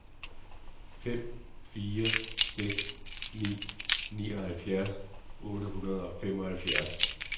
fem fire seks ni nioghalvfjerds otte hundrede og femoghalvfjerds